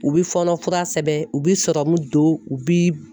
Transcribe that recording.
U bi fɔɔnɔ fura sɛbɛn u bi sɔrɔmu don u bi